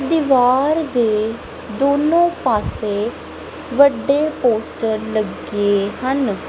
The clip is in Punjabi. ਦੀਵਾਰ ਦੇ ਦੋਨੋਂ ਪਾਸੇ ਵੱਡੇ ਪੋਸਟਰ ਲੱਗੇ ਹਨ।